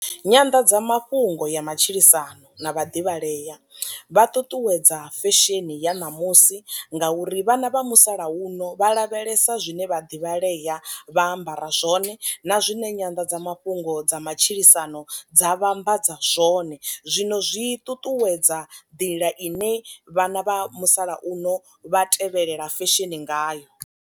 Nyanḓadza mafhungo ya matshilisano na vhaḓivhalea vha ṱuṱuwedza fesheni ya ṋamusi ngauri vhana vha musalauno vha lavhelesa zwine vhaḓivhalea vha ambara zwone, na zwine Nyanḓadza mafhungo dza matshilisano dza vhambadza zwone, zwino zwi ṱuṱuwedza nḓila ine vhana vha musalauno vha tevhelela fesheni ngayo.